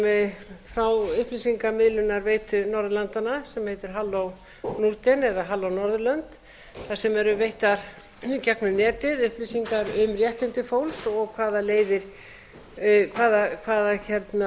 sem frá upplýsingamiðlunarveitu norðurlandanna sem heitir hallo norden eða halló norðurlönd þar sem eru veittar gegnum netið upplýsingar um réttindi fólks og hvaða leiðir og leiðbeiningar til fólks sem